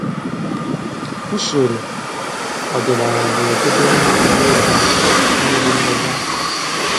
Usoro ọdịnaala na-edobe mmiri n'oge akọrọ mmiri n'oge akọrọ